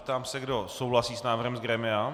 Ptám se, kdo souhlasí s návrhem z grémia.